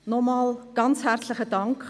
Nochmals ganz herzlichen Dank!